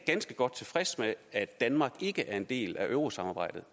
ganske godt tilfreds med at danmark ikke er en del af eurosamarbejdet